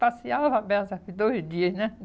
Passeava à beça dois dias, né?